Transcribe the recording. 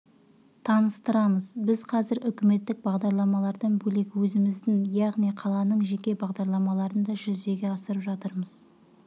таныстырамыз біз қазір үкіметтік бағдарламалардан бөлек өзіміздің яғни қаланың жеке бағдарламаларын да жүзеге асырып жатырмыз